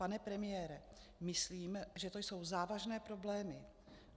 Pane premiére, myslím, že to jsou závažné problémy.